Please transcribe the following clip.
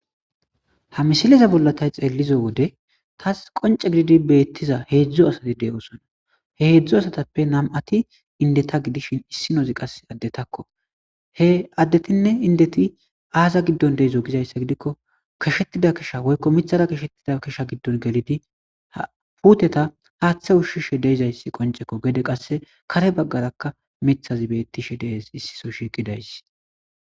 Ha misileza bolla tay xeellizo wode tas qonce gididi beettiza heedzdzo asati deyosona he heedzdzo asatappe nam7ati indeta gidishin issinozi qase addetakko he addetinne indeti aaza giddon deezo gizayssa gidikko kashettida kasha woykko mithara kashettida kisha giddon gelidi puteta haaththe ushshishe deizayssi qoncekko geede qasse kare baggaraka mithazi bettishe dees issiso shiqidaysi.